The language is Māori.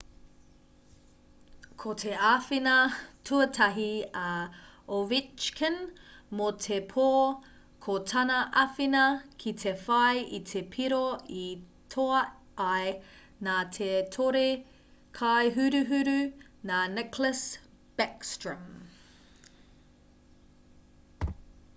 ko te āwhina tuatahi a ovechkin mō te pō ko tana āwhina ki te whai i te piro i toa ai nā te tore-kai-huruhuru nā nicklas backstrom